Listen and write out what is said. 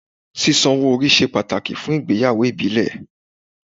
Sísan owó orí ṣe pàtàkì fún ìgbéyàwó ìbílẹ̀.